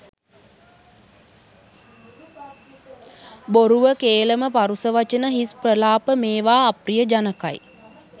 බොරුව, කේලම, පරුෂ වචන, හිස් ප්‍රලාප මේවා අප්‍රිය ජනකයි.